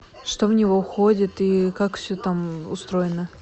что в него входит и как все там устроено